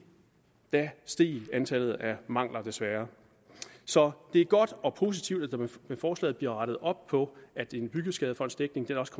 steg antallet af mangler desværre så det er godt og positivt at der med forslaget bliver rettet op på at en byggeskadefondsdækning også